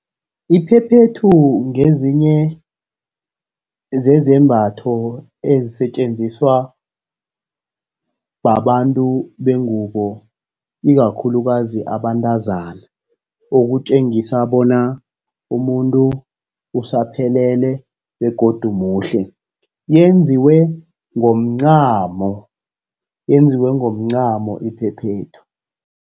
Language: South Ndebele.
Iphephethu ngezinye zezambatho ezisetjenziswa babantu bengubo, ikakhulukazi abantazana, ukutjengisa bona umuntu usaphelele begodu muhle. Yenziwe ngomncamo, yenziwe ngomncamo iphephethu.